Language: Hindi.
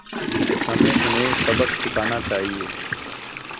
हमें उन्हें सबक सिखाना चाहिए